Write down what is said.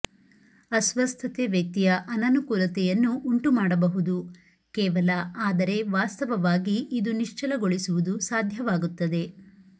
ಅಸ್ವಸ್ಥತೆ ವ್ಯಕ್ತಿಯ ಅನನುಕೂಲತೆಯನ್ನು ಉಂಟುಮಾಡಬಹುದು ಕೇವಲ ಆದರೆ ವಾಸ್ತವವಾಗಿ ಇದು ನಿಶ್ಚಲಗೊಳಿಸುವುದು ಸಾಧ್ಯವಾಗುತ್ತದೆ